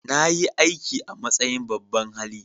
Na yi aiki a matsayin babban hali.